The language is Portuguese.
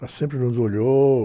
Ela sempre nos olhou.